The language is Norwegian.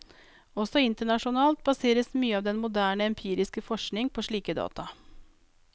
Også internasjonalt baseres mye av den moderne empiriske forskning på slike data.